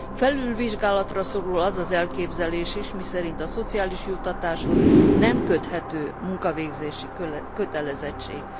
Felülvizsgálatra szorul az az elképzelés is, miszerint a szociális juttatáshoz nem köthető munkavégzési kötelezettség.